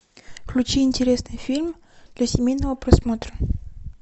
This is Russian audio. включи интересный фильм для семейного просмотра